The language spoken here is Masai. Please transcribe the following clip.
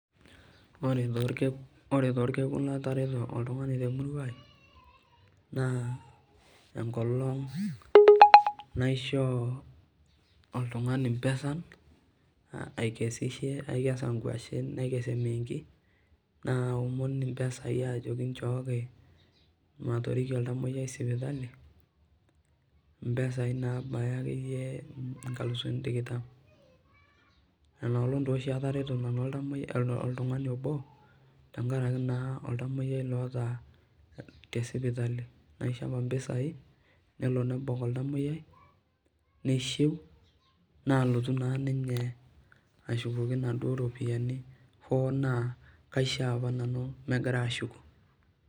ore taa olkekun latareto oltungani temurai naa enkolong naishoo oltungani impesan, aikesishe aikesa inkwashen naikes imiingi naomon impesan sai ajoki ichooki, matorikie oltamoyiai sipitali impeai naabaya akeyie inkalusuni tikitam inolong taa oshi atereto nanu oltamoyiai, oltungani obo tesipitali keta impisai nelo nebak oltamoyiai hoo naa kaishoo apa pee ashukoki.